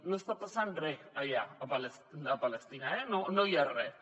no està passant res allà a palestina eh no hi ha res